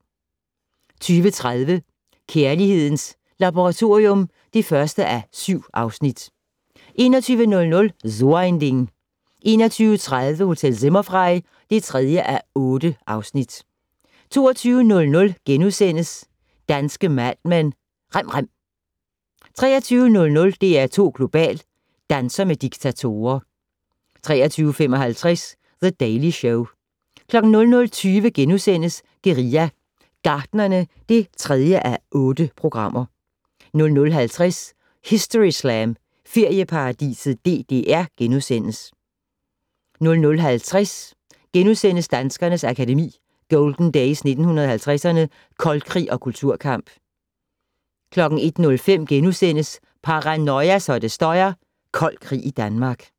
20:30: Kærlighedens Laboratorium (1:7) 21:00: So ein Ding 21:30: Hotel Zimmerfrei (3:8) 22:00: Danske Mad Men: Rem rem * 23:00: DR2 Global: Danser med diktatorer 23:55: The Daily Show 00:20: Guerilla Gartnerne (3:8)* 00:50: Historyslam - Ferieparadiset DDR * 00:50: Danskernes Akademi: Golden Days 1950'erne - Koldkrig og Kulturkamp * 01:05: Paranoia så det støjer - Kold krig i Danmark *